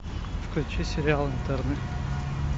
включи сериал интерны